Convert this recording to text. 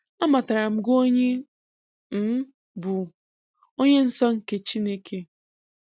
Amataram gị onye ị um bụ, Onye Nsọ nke Chineke.